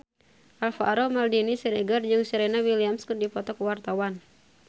Alvaro Maldini Siregar jeung Serena Williams keur dipoto ku wartawan